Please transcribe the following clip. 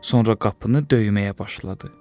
Sonra qapını döyməyə başladı.